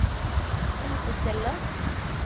helsestellet